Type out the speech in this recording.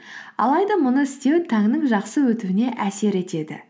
алайда мұны істеу таңның жақсы өтуіне әсер етеді